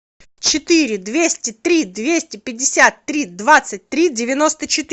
четыре двести три двести пятьдесят три двадцать три девяносто четыре